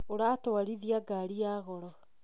ũratwarithia ngari ya goro